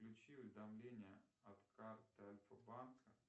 включи уведомления от карты альфа банка